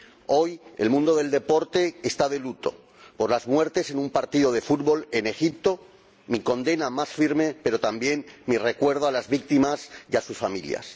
Hoy el mundo del deporte está de luto por las muertes en un partido de fútbol en Egipto. Expreso mi condena más firme, pero también mi recuerdo a las víctimas y a sus familias.